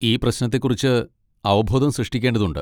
ഈ പ്രശ്നത്തെക്കുറിച്ച് അവബോധം സൃഷ്ടിക്കേണ്ടതുണ്ട്.